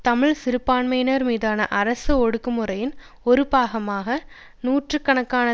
தமிழ் சிறுபான்மையினர் மீதான அரசு ஒடுக்குமுறையின் ஒரு பாகமாக நூற்று கணக்கான